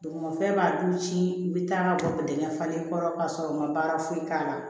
Dugumafɛn b'a dun ci i bi taa bɔ dingɛ falen kɔrɔ ka sɔrɔ u ma baara foyi k'a la